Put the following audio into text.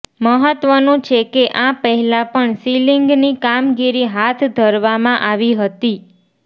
મહત્વનું છે કે આ પહેલા પણ સીલિંગની કામગીરી હાથ ધરવામાં આવી હતી